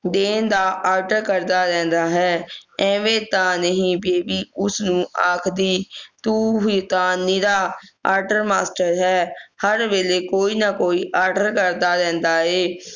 ਦਿਨ ਦਾ ਆਰਡਰ ਦੇਨ ਦਾ order ਕਰਦਾ ਰਹਿੰਦਾ ਹੈ ਐਵੇਂ ਤਾਂ ਉਸ ਨੂੰ ਨਹੀਂ ਆਖਦੀ ਤੂੰ ਹੀ ਤੇ ਨਿਰਾ order master ਹੈ ਹਰ ਵੇਲੇ ਕੋਈ ਨਾ ਕੋਈ order ਕਰਦਾ ਰਹਿੰਦਾ